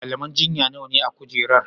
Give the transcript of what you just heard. malaman jinya nawane a kujerar?